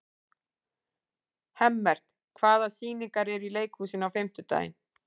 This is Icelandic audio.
Hemmert, hvaða sýningar eru í leikhúsinu á fimmtudaginn?